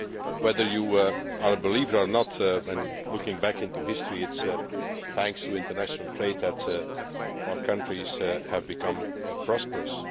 Whether you are a believer or not, looking back into history, it is thanks to international trade that our countries have become prosperous.